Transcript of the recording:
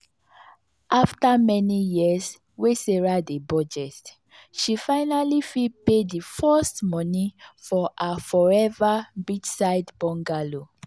after many years wey sarah dey budget she finally fit pay the first money for her forever beachside bungalow.